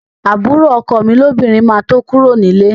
Àbúrò ọkọ mi lóbìnrin máa tó kúrò ní líle